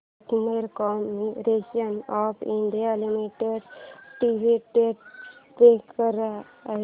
container corporation of India limited dividend pay किती आहे